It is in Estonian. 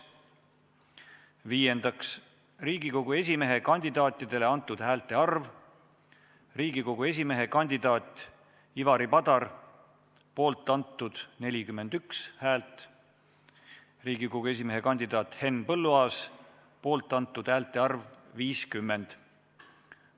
Viiendaks, Riigikogu esimehe kandidaatidele antud häälte arv: Riigikogu esimehe kandidaat Ivari Padar – poolt antud 41 häält, Riigikogu esimehe kandidaat Henn Põlluaas – poolt antud häälte arv 50.